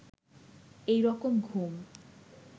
এই রকম ঘুম